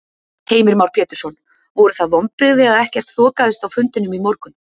Heimir Már Pétursson: Voru það vonbrigði að ekkert þokaðist á fundinum í morgun?